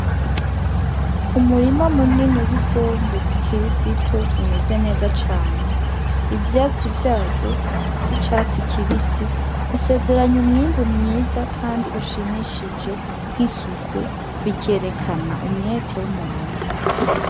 Umurima munini w' isombe zikiri zito zimeze neza cane ivyatsi vyazo z'icatsi kibisi bisezeranya umwimbu mwiza kandi ushimishije nk'isuku bikerekana umwete w' umurimyi.